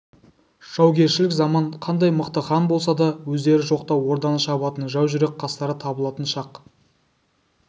жаугершілік заман қандай мықты хан болса да өздері жоқта орданы шабатын жау жүрек қастары табылатын шақ